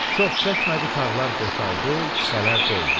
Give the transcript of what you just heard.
Çox çəkmədi tağlar boşaldı, kisələr doldu.